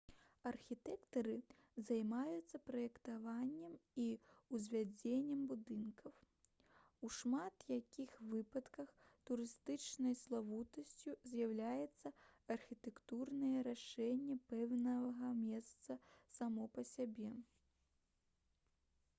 архітэктары займаюцца праектаваннем і ўзвядзеннем будынкаў у шмат якіх выпадках турыстычнай славутасцю з'яўляецца архітэктурнае рашэнне пэўнага месца само па сабе